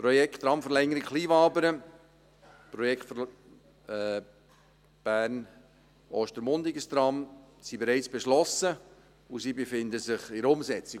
Die Projekte Tramverlängerung Kleinwabern und Tram Bern– Ostermundigen sind bereits beschlossen und befinden sich in der Umsetzung.